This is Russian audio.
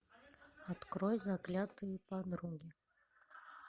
открой заклятые подруги